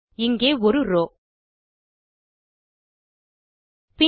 இங்கே ஒரு ரோவ்